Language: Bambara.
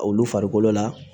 Olu farikolo la